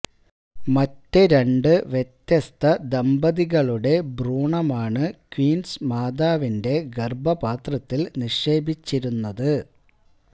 മറ്റു രണ്ട് വ്യത്യസ്ത ദമ്പതികളുടെ ഭ്രൂണമാണ് ക്വീന്സ് മാതാവിന്റെ ഗര്ഭപാത്രത്തില് നിക്ഷേപിച്ചിരുന്നത്